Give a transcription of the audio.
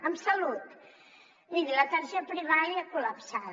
en salut miri l’atenció primària col·lapsada